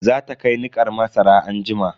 Za ta kai nikar masara anjima.